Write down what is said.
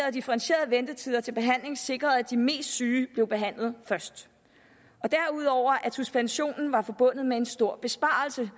at differentierede ventetider til behandling sikrede at de mest syge blev behandlet først og derudover at suspensionen var forbundet med en stor besparelse